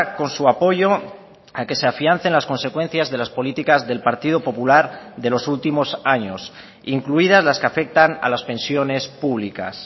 con su apoyo a que se afiancen las consecuencias de las políticas del partido popular de los últimos años incluidas las que afectan a las pensiones públicas